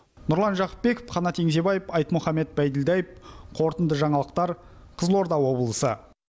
нұрлан жақыпбеков қанат еңжебаев айтмұхамед байділдаев қорытынды жаңалықтар қызылорда облысы